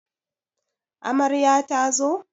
Amarya ta zo?